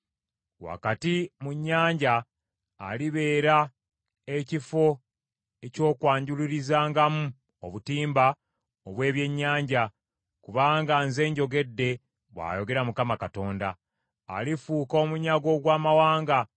Wakati mu nnyanja alibeera ekifo eky’okwanjulurizangamu obutimba obw’ebyennyanja, kubanga nze njogedde bw’ayogera Mukama Katonda. Alifuuka omunyago ogw’amawanga,